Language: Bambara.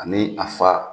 Ani a fa